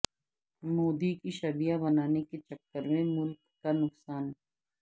مودی کی شبیہ بنانے کے چکر میں ملک کا نقصان